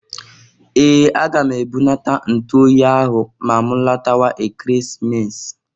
Ee! Aga m ebunata ntụ oyi ahụ ma m latawa Ekeresimesi.